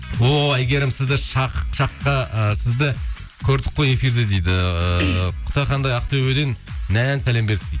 о әйгерім сізді ы сізді көрдік қой эфирде дейді ыыы құтақандай ақтөбеден нән сәлем бердік дейді